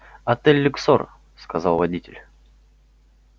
отель люксор сказал водитель